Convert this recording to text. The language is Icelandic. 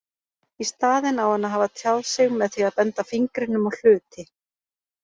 Í staðinn á hann að hafa tjáð sig með því að benda fingrinum á hluti.